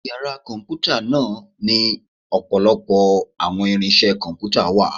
Ìyára Kọǹpútà náá ni ọpọlọpọ awọn irinse Kọǹpútà wà